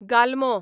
गालमो